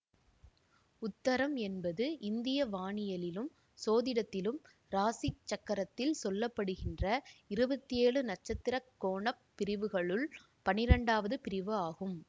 உத்தரம் என்பது இந்திய வானியலிலும் சோதிடத்திலும் இராசி சக்கரத்தில் சொல்ல படுகின்ற இருபத்தேழு நட்சத்திர கோண பிரிவுகளுள் பன்னிரெண்டாவது பிரிவு ஆகும்